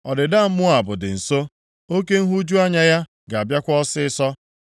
“Ọdịda Moab dị nso; oke nhụju anya ya ga-abịakwa ọsịịsọ.